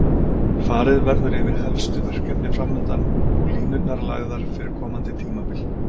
Farið verður yfir helstu verkefni framundan og línurnar lagðar fyrir komandi tímabil.